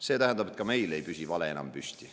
See tähendab, et ka meil ei püsi vale enam püsti.